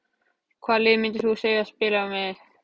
Hvaða liði myndir þú aldrei spila með?